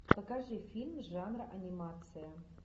покажи фильм жанра анимация